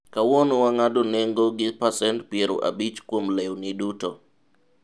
kawuono wang'ado nengo gi pacent piero abich kuom lenwi duto